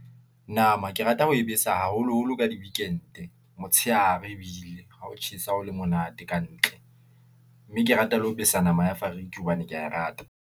Nama ke rata ho e besa haholoholo ka di-weekend, motshehare ebile ha ho tjhesa ho le monate ka ntle , mme ke rata le ho besa nama ya fariki hobane ke ya e rata.